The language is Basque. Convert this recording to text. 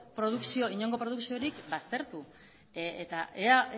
inongo produkziorik baztertu eta ea